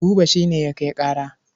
Buba shi ne ya kai ƙara.